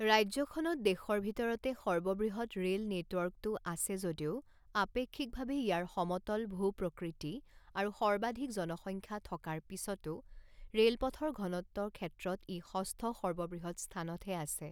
ৰাজ্যখনত দেশৰ ভিতৰতে সৰ্ববৃহৎ ৰে'ল নেটৱৰ্কটো আছে যদিও আপেক্ষিকভাৱে ইয়াৰ সমতল ভূপ্ৰকৃতি আৰু সৰ্বাধিক জনসংখ্যা থকাৰ পিছতো ৰে'লপথৰ ঘনত্ব ক্ষেত্ৰত ই ষষ্ঠ সৰ্ববৃহৎ স্থানতহে আছে।